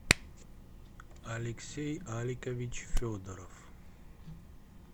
алексей аликович федоров